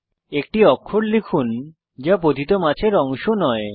একটি অক্ষর লিখুন যা পতিত মাছের অংশ নয়